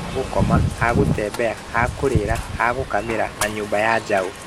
Ha gũkoma, ha gũtembea, ha kũrĩla, ha gũkamĩra na nyũmba ya njaũ